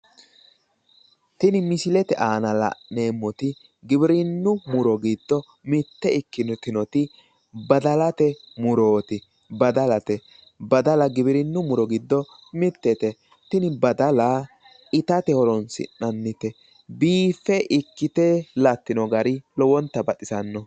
tini misilete aana la'neemmoti giwirinnu muro giddo mitte ikkitinoti badalate murooti badalate badala giwirinnu muro giddo mitete tini badala itate horonsi'nannite biiffe ikkite lattino gari lowonta baxisanno.